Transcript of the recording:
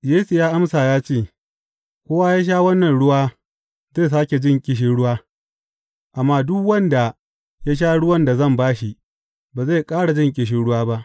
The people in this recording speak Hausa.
Yesu ya amsa ya ce, Kowa ya sha wannan ruwa, zai sāke jin ƙishirwa, amma duk wanda ya sha ruwan da zan ba shi, ba zai ƙara jin ƙishirwa ba.